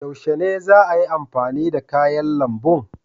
Yaushe ne za ayi amfani da kayan lambun?